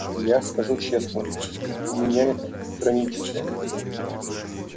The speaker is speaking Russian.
я скажу честно у меня это хроническое